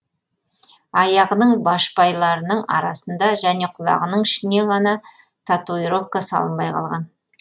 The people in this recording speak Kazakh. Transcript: аяғының байшпайларының арасында және құлағының ішіне ғана татуировка салынбай қалған